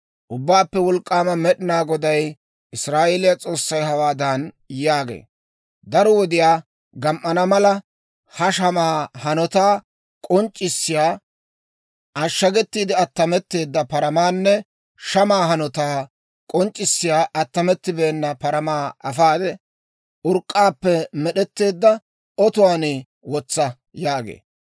‹Ubbaappe Wolk'k'aama Med'inaa Goday, Israa'eeliyaa S'oossay, hawaadan yaagee; «Daro wodiyaa gam"ana mala, ha shamaa hanotaa k'onc'c'isiyaa ashagetiide attametteedda paramaanne shamaa hanotaa k'onc'c'isiyaa attamettibeena paramaa akka afaade, urk'k'aappe med'etteedda otuwaan wotsa» yaagee.